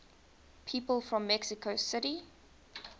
people from mexico city